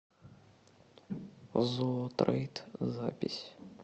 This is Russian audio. зоотрейд запись